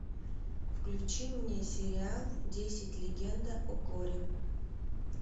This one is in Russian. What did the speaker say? включи мне сериал десять легенда о корре